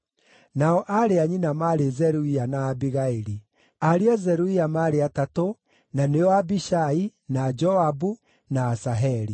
Nao aarĩ a nyina maarĩ Zeruia na Abigaili. Ariũ a Zeruia maarĩ atatũ, na nĩo Abishai, na Joabu, na Asaheli.